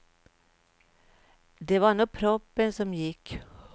Det var nog proppen som gick.